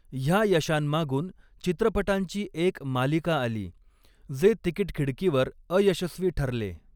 ह्या यशांमागून चित्रपटांची एक मालिका आली, जे तिकीट खिडकीवर अयशस्वी ठरले.